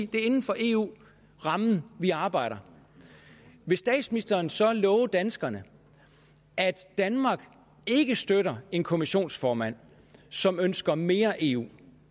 det er inden for eu rammen vi arbejder vil statsministeren så love danskerne at danmark ikke støtter en kommissionsformand som ønsker mere eu